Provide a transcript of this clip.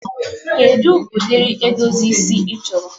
kedu odiri edozi isi ị chọrọ?